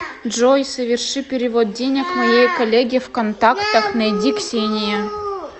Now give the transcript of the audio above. джой соверши перевод денег моей коллеге в контактах найди ксения